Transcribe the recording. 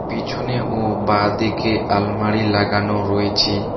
পিছনে ও বাঁ দিকে আলমারি লাগানো রয়েছে।